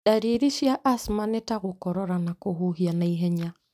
Ndariri cia asthma nĩ ta gũkorora na kũhuhia na ihenya.